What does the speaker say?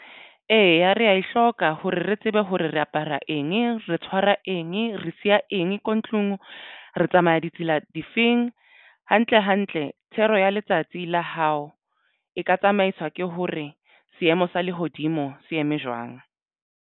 Eya, re ya e hloka hore re tsebe hore re apara eng re tshwara eng, re siya eng ko ntlong re tsamaya ditsela difeng hantle hantle thero ya letsatsi la hao e ka tsamaiswa ke hore seemo sa lehodimo se eme jwang.